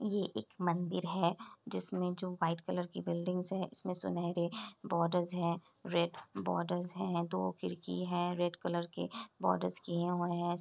ये एक मन्दिर है जिसमे जो व्हाइट कलर की बिल्डिंगस है इसमे सुनहरे बोर्डस है रेड बोर्डस है दो खिड्कि है रेड कलर की बोर्डस किए हुए है।